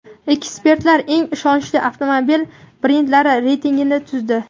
Ekspertlar eng ishonchli avtomobil brendlari reytingini tuzdi.